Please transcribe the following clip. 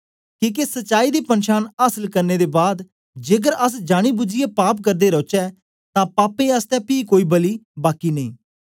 किके सच्चाई दी पनछान आसल करने दे बाद जेकर अस जानी बुझीयै पाप करदे रौचै तां पापें आसतै पी कोई बलि बाकी नेई